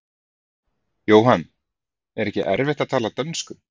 Jóhann: En er ekki erfitt að tala dönsku?